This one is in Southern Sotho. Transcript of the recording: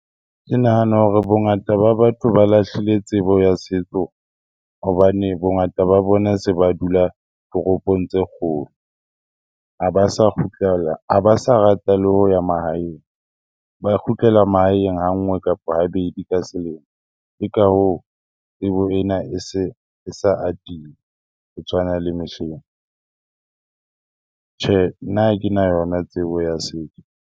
Ke nahana hore bongata ba batho ba lahlile tsebo ya setso hobane bongata ba bona se ba dula toropong tse kgolo. Ha ba sa kgutlela, ha ba sa rata le ho ya mahaeng, ba kgutlela mahaeng ha nngwe kapa habedi ka selemo. Ke ka hoo tsebo ena e se e sa atile ho tshwana le mehleng. Tjhe, nna ha kena yona tsebo ya setso.